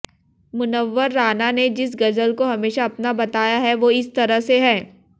मुनव्वर राना ने जिस गजल को हमेशा अपना बताया है वो इस तरह से है